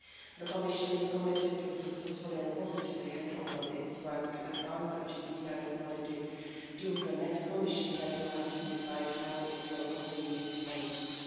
The Commission is committed to successfully and positively handing over its work to advance LGBTI equality to the next Commission, which will have to decide how it will continue these policies.